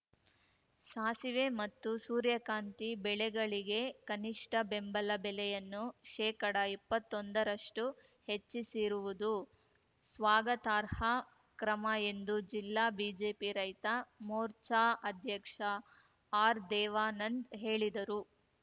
ಸಾಸಿವೆ ಮತ್ತು ಸೂರ್ಯಕಾಂತಿ ಬೆಳೆಗಳಿಗೆ ಕನಿಷ್ಠ ಬೆಂಬಲ ಬೆಲೆಯನ್ನು ಶೇಕಡಇಪ್ಪತ್ತೊಂದರಷ್ಟುಹೆಚ್ಚಿಸಿರುವುದು ಸ್ವಾಗತಾರ್ಹ ಕ್ರಮ ಎಂದು ಜಿಲ್ಲಾ ಬಿಜೆಪಿ ರೈತ ಮೋರ್ಚಾ ಅಧ್ಯಕ್ಷ ಆರ್‌ದೇವಾನಂದ್‌ ಹೇಳಿದರು